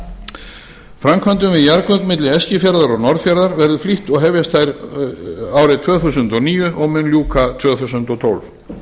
framkvæmdum við jarðgöng milli eskifjarðar og norðfjarðar verður flýtt og hefjast þær árið tvö þúsund og níu og mun ljúka tvö þúsund og tólf